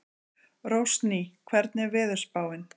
Rósný, hvernig er veðurspáin?